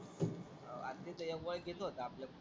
R तिथं एक ओळखीचं होत आपल्या.